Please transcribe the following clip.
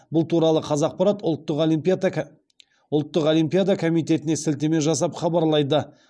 бұл туралы қазақпарат ұлттық олимпиада комитетіне сілтеме жасап хабарлайды